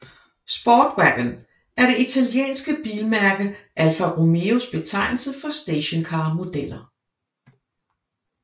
Sportwagon er det italienske bilmærke Alfa Romeos betegnelse for stationcarmodeller